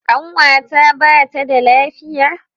Ƙanwata ba ta da lafiya